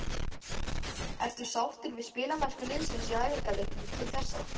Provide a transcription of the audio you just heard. Ertu sáttur við spilamennsku liðsins í æfingaleikjum til þessa?